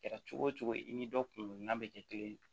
Kɛra cogo o cogo i ni dɔ kunan bɛ kɛ kelen ye